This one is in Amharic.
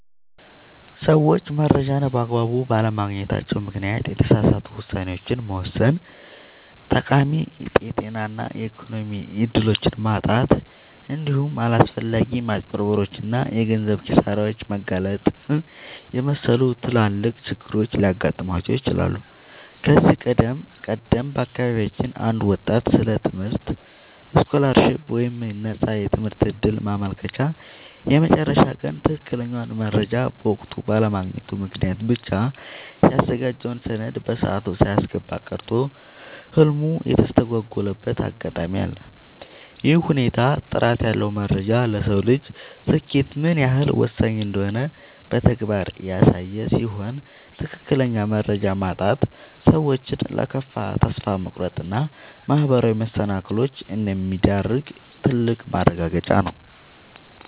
ሰዎች መረጃን በአግባቡ ባለማግኘታቸው ምክንያት የተሳሳቱ ውሳኔዎችን መወሰን፣ ጠቃሚ የጤና እና የኢኮኖሚ እድሎችን ማጣት፣ እንዲሁም ለአላስፈላጊ ማጭበርበሮች እና የገንዘብ ኪሳራዎች መጋለጥን የመሰሉ ትላልቅ ችግሮች ሊገጥሟቸው ይችላሉ። ከዚህ ቀደም በአካባቢያችን አንድ ወጣት ስለ ትምህርት ስኮላርሺፕ (የነፃ ትምህርት ዕድል) ማመልከቻ የመጨረሻ ቀን ትክክለኛውን መረጃ በወቅቱ ባለማግኘቱ ምክንያት ብቻ ያዘጋጀውን ሰነድ በሰዓቱ ሳያስገባ ቀርቶ ህልሙ የተስተጓጎለበት አጋጣሚ አለ። ይህ ሁኔታ ጥራት ያለው መረጃ ለሰው ልጅ ስኬት ምን ያህል ወሳኝ እንደሆነ በተግባር ያሳየ ሲሆን፣ ትክክለኛ መረጃ ማጣት ሰዎችን ለከፋ ተስፋ መቁረጥ እና ማህበራዊ መሰናክሎች እንደሚዳርግ ትልቅ ማረጋገጫ ነው።